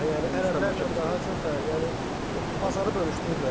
Yəni ərəblərlə daha çox yəni bazarı bölüşdürüblər də.